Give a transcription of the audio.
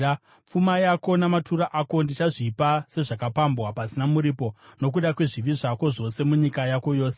Pfuma yako namatura ako ndichazvipa sezvakapambwa, pasina muripo, nokuda kwezvivi zvako zvose munyika yako yose.